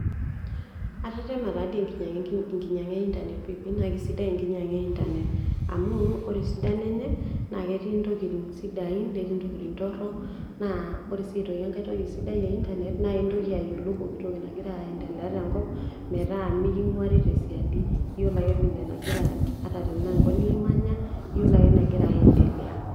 Atetema tatoi enkinyangá einternet pii nakesidai enkinyang'a einternet amu wore esidano enye naketii ntokiting' sidain netii ntokiting' wore sii aitoki entoki ake internet naintoki ayiolou pooki toki nagira aiendelea tenkop meta miking'uari tesiadi yiolo ake ata enkop nimanya yiolo ake enegira aiendelea